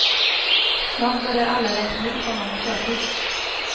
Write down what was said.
Snart börjar alla räkna ut honom i förtid.